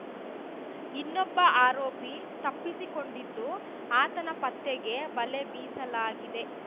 ಇನ್ನೊಬ್ಬ ಆರೋಪಿ ತಪ್ಪಿಸಿಕೊಂಡಿದ್ದು ಆತನ ಪತ್ತೆಗೆ ಬಲೆ ಬೀಸಲಾಗಿದೆ